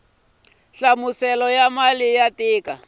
hlaselo wa mali ya tiko